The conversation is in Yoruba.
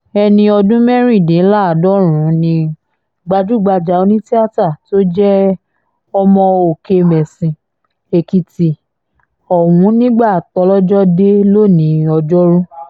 ẹni ọdún mẹ́rìndínláàádọ́rùn-ún ni gbajúgbajà onítìátà tó jẹ́ ọmọ òkèmẹ́sì èkìtì ọ̀hún nígbà tójọ́jọ dé lónìí òjoru